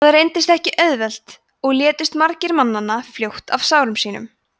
það reyndist ekki auðvelt og létust margir mannanna fljótt af sárum sínum